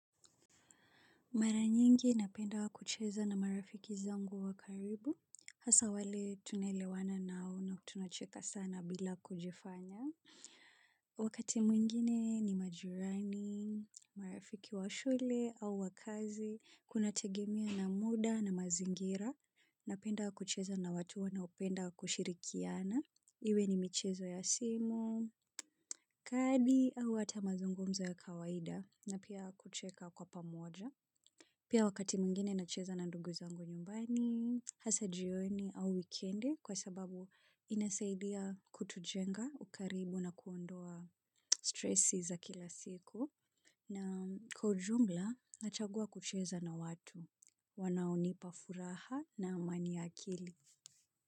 Mara nyingi napenda kucheza na marafiki zangu wa karibu, hasa wale tunaelewana nao na tunacheka sana bila kujifanya. Wakati mwingine ni majirani, marafiki wa shule au wakazi, kunategemea na muda na mazingira, napenda kucheza na watu wanaopenda kushirikiana, iwe ni michezo ya simu, kadi au hata mazungumzo ya kawaida na pia kucheka kwa pamoja. Pia wakati mwingine nacheza na ndugu zangu nyumbani, hasa jioni au wikendi kwa sababu inasaidia kutujenga ukaribu na kuondoa stresi za kila siku. Na kwa ujumla nachagua kucheza na watu wanaonipa furaha na amani ya akili.